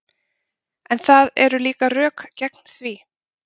En það eru líka rök gegn því.